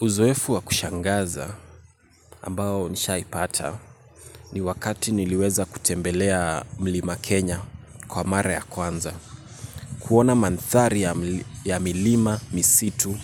Uzoefu wa kushangaza ambao nishaipata ni wakati niliweza kutembelea mlima Kenya kwa mara ya kwanza. Kuona manthari ya milima misitu